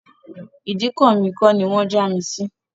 Ìdíkọ̀ mi kọ́ ni wọ́n já mi sí